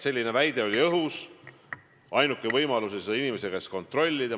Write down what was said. Selline väide oli õhus, ainuke võimalus oli seda kompetentse inimese käest kontrollida.